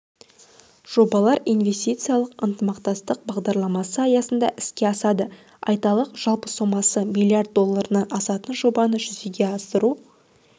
жобалар инвестициялық ынтымақтастық бағдарламасы аясында іске асады айталық жалпы сомасы млрд долларынан асатын жобаны жүзеге асыру